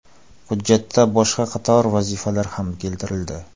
Hujjatda boshqa qator vazifalar ham keltirildi.